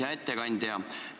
Hea ettekandja!